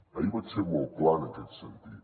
ahir vaig ser molt clar en aquest sentit